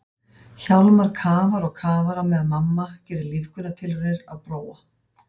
Hjálmar kafar og kafar á meðan mamma gerir lífgunartilraunir á Bróa.